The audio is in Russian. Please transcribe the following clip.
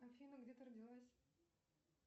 афина где ты родилась